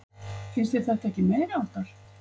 Finnst þér þetta ekki meiriháttar?